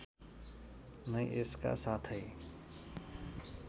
नै यसका साथै